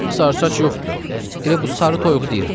Sarı saç yoxdur, elə bu sarı toyuğu deyirəm.